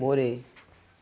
Morei.